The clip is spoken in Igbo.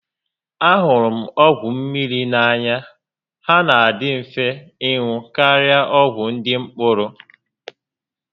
A hụrụ m ọgwụ mmiri n'anya, há nà adị mfe ịṅụ karịa ọgwụ ndị mkpụrụ